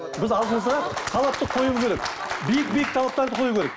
біз алдымызға талапты қоюымыз керек биік биік талаптарды қою керек